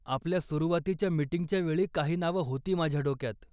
आपल्या सुरुवातीच्या मिटिंगच्या वेळी काही नावं होती माझ्या डोक्यात.